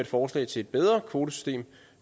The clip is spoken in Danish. forslag til et bedre kvotesystem